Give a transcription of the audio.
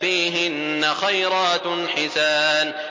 فِيهِنَّ خَيْرَاتٌ حِسَانٌ